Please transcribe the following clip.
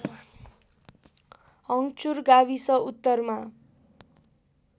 हङ्चुर गाविस उत्तरमा